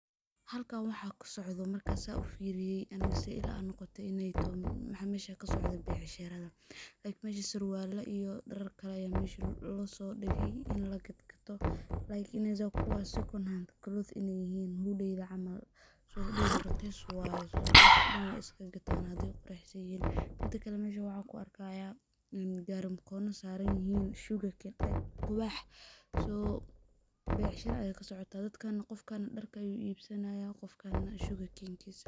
Halkan waxaa kasocdho markan sa ufiriye aniga siday la noqote in ay toho, waxaa mesha kasocdo becshara, like mesha surwala iyo darar kale losodigey in lagatoh like inayeza kuwa second hand clothe in ay yihin camal so hudeydha raqis waye, dadka dan way iskagatanah hadey quruxsanyihin, midi kale meshan waxan kuarkaya gari mkono saranyihin sugarcane like quwax, so becshara ayaa kasocotah dadkana darka ayuu ibsanayaa, dadka kale shukakenkisa.